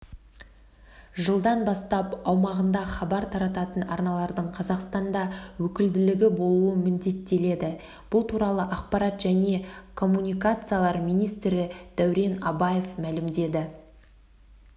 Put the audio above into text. жылдан бастап аумағында хабар тарататын арналардың қазақстанда өкілдігі болуы міндеттеледі бұл туралы ақпарат және коммуникациялар министрі дәурен абаев мәлімдеді